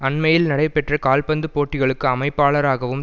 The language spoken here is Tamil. அண்மையில் நடைபெற்ற கால்பந்து போட்டிகளுக்கு அமைப்பாளராகவும்